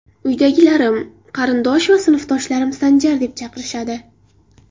Uydagilarim, qarindosh va sinfdoshlarim Sanjar deb chaqirishadi.